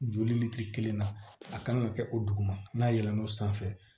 Joli kelen na a kan ka kɛ o dugu ma n'a yɛlɛn'o sanfɛ